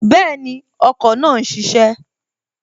Bẹ́ẹ̀ni, ọkọ̀ náà n ṣiṣẹ́